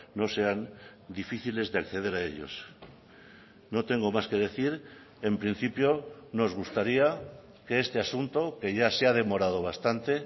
no sean difíciles de acceder a ellos no tengo más que decir en principio nos gustaría que este asunto que ya se ha demorado bastante